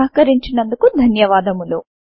సహకరించినందుకు ధన్యవాదములు